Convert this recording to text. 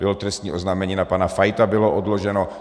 Bylo trestní oznámení na pana Fajta, bylo odloženo.